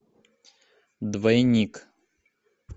двойник